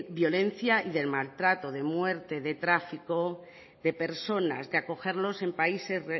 violencia y del maltrato de muerte de tráfico de personas de acogerlos en países